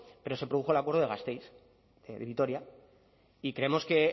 pero se produjo el acuerdo de gasteiz de vitoria y creemos que